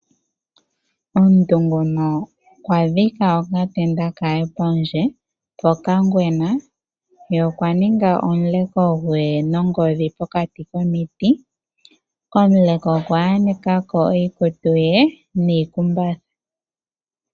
Omuntu nguno okwa dhika okatenda kaye pondje pokangwena, ye okwa ninga omuleko gwee nongodhi pokati komiti, komuleko okwa yaneka ko oikutu ye niikumbatha.